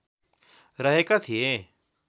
रहेका थिए